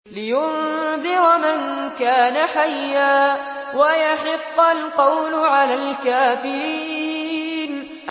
لِّيُنذِرَ مَن كَانَ حَيًّا وَيَحِقَّ الْقَوْلُ عَلَى الْكَافِرِينَ